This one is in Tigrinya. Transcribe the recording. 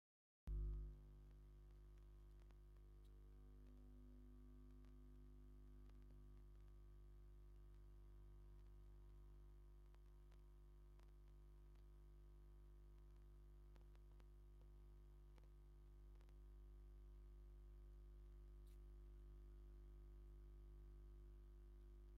ናይ መንፈሳውነትን ሃይማኖታዊ ክብርን ስምዒት ይህብ፤ ብዙሓት ናይ ኢትዮጵያ ኦርቶዶክስ ተዋህዶ ቤተክርስትያን ሽማግለታትን ምእመናንን ብባህላዊ ጻዕዳ ክዳን ተኸዲኖም ንሃይማኖታዊ ስነ-ስርዓት ተኣኪቦም ይረኣዩ። ኣብ ድሕሪት ዘሎ መስቀል ቤተ ክርስቲያን እንታይ ሕብሪ ኣለዎ?